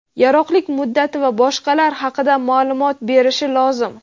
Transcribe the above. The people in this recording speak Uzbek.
yaroqlilik muddati va boshqalar haqida ma’lumot berishi lozim.